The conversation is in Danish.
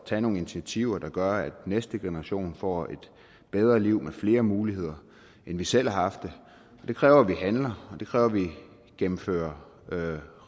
tage nogle initiativer der gør at næste generation får et bedre liv med flere muligheder end vi selv har haft det kræver at vi handler og det kræver at vi gennemfører